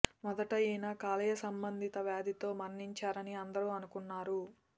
మొదట ఈయన కాలేయ సంబందిత వ్యాధితో మరణించారని అందరూ అనుకున్నారు